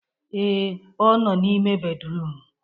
Ee, ọ nọ n'ime bédrụum.